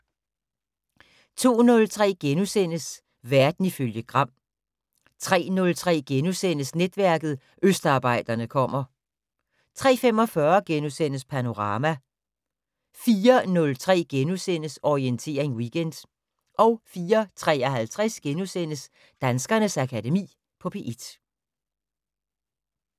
02:03: Verden ifølge Gram * 03:03: Netværket: Østarbejderne kommer * 03:45: Panorama * 04:03: Orientering Weekend * 04:53: Danskernes Akademi på P1 *